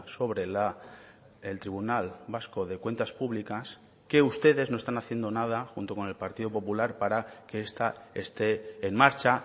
sobre el tribunal vasco de cuentas públicas que ustedes no están haciendo nada junto con el partido popular para que esta esté en marcha